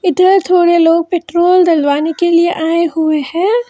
Petrol थोड़ी लोग petrol डलवाने के लिए आए हुए हैं।